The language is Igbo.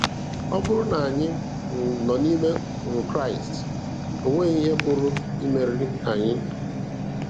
Ọ bụrụ na anyị um nọ n'ime um Kraịst, onwe ihe pụrụ imeri um anyị.